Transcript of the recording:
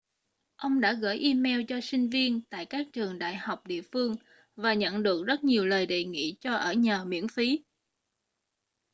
ông đã gửi email cho sinh viên tại các trường đại học địa phương và nhận được rất nhiều lời đề nghị cho ở nhờ miễn phí